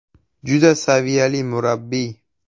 Juda saviyali murabbiy.